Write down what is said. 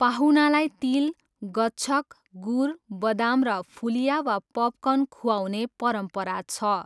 पाहुनालाई तिल, गच्छक, गुर, बदाम र फुलिया वा पपकर्न खुवाउने परम्परा छ।